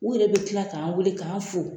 U yɛrɛ bɛ tila k'an weele k'an fo